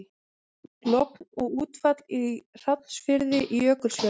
Logn og útfall í Hrafnsfirði í Jökulfjörðum.